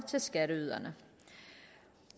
til skatteyderne